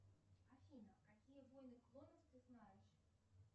афина какие войны клонов ты знаешь